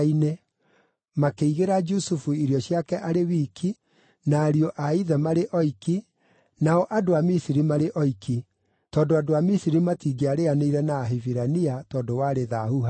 Makĩigĩra Jusufu irio ciake arĩ wiki, na ariũ a ithe marĩ oiki, nao andũ a Misiri marĩ oiki, tondũ andũ a Misiri matingĩarĩanĩire na Ahibirania tondũ warĩ thaahu harĩo.